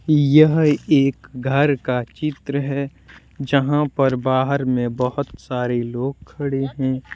यह एक घर का चित्र है जहां पर बाहर में बहुत सारे लोग खड़े हैं ।